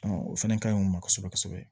o fɛnɛ kaɲi u ma kosɛbɛ kosɛbɛ